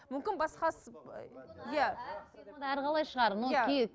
мүмкін басқасы иә